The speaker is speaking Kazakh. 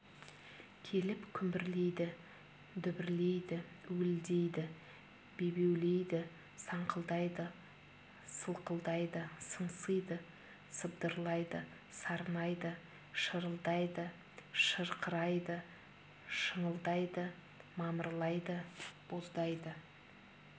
келіп күмбірлейді дүбірлейді уілдейді бебеулейді саңқылдайды сылқылдайды сыңсиды сыбдырлайды сарнайды шырылдайды шырқырайды шыңылдайды мамырлайды боздайды